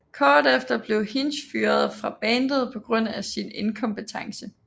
Kort efter blev Hinch fyret fra bandet på grund af sin inkompetence